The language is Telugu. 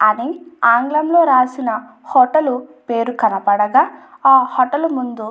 అదే ఆంగ్లంలో రాసిన హోటల్ పేరు కనపడక ఆ హోటల్ ముందు --